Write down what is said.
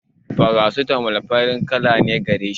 farasitamol farin kala gareshi